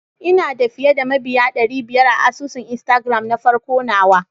Ina da fiyeda mabiya dary biyar a asusun instagram nafarko nawa.